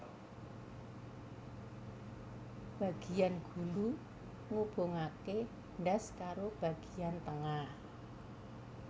Bagiyan gulu ngubungake ndas karo bagiyan tengah